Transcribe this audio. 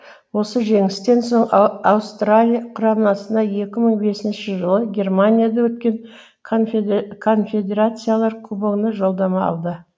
осы жеңістен соң аустралия құрамасына екі мың бесінші жылы германияда өткен конфедерациялар кубогына жолдама алды